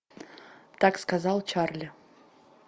так сказал чарли